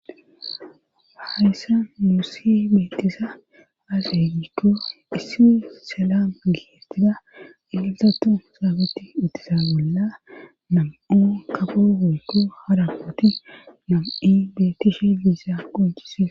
baayssa muussi beettisa haasegikko issi sellam gigestida ielsatu saabetti ittisa bolla nam7o kafo wuyko harapoti nam7i bettishe biissa qoncise